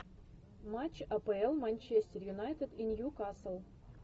матч апл манчестер юнайтед и ньюкасл